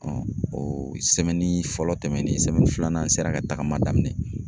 fɔlɔ tɛmɛnen filanan n sera ka tagama daminɛ.